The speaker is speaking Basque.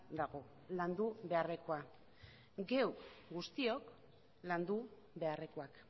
dagoela landu beharrekoa geuk guztiok landu beharrekoa